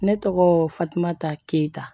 Ne tɔgɔ fatumata keyita